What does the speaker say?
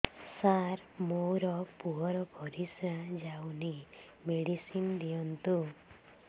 ସାର ମୋର ପୁଅର ପରିସ୍ରା ଯାଉନି ମେଡିସିନ ଦିଅନ୍ତୁ